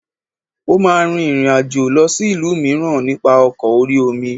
Ó máa rin ìrìn àjò lọ sí ìlú mìíràn nípa ọkọ̀ orí-omi